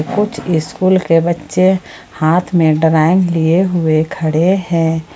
कुछ स्कूल के बच्चे हाथ में ड्राइंग लिए हुए खड़े हैं।